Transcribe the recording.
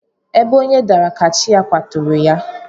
Ebe onye dara ka chi ya kwaturu ya.